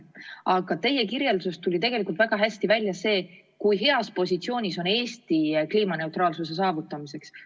Samas teie kirjelduses tuli tegelikult väga hästi välja, kui heas positsioonis on Eesti kliimaneutraalsuse saavutamiseks.